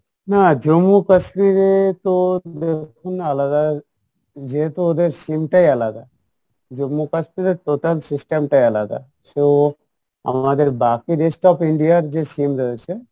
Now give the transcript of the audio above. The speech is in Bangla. না Jammu Kashmir এ তো আলাদা যেহেতু ওদের sim টাই আলাদা Jammu Kashmir এর total system টাই আলাদা সো আমাদের বাকি rest of India এর যে sim রয়েছে